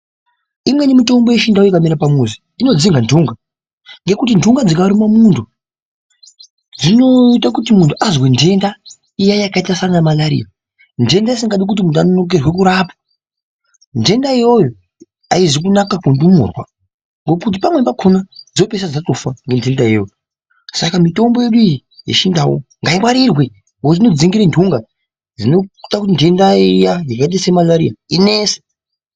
Imweni mitombo yechiNdau ikamera pamuzi inodzinga ndunga ngenguti ndunga dzikaruma mundu dzinoita kuti mundu azwe dhenda iyaa yakaita saana malaria dhenda isingadi kuti mundu anonokerwe kurapwa dhenda iyoyo hauzi kunaka kundumurwq ngokuti pamwe pakona dzopera ngokufa ngedhenda iyoyi saka mitombo yedu iyi yechiNdau ngaingwarirwe nekuti inodzinge ndunga dzinoita dhenda iyaa yakaita semararia inetse.